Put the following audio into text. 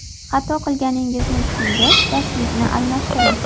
Xato qilganingizni tushungach, darslikni almashtiring.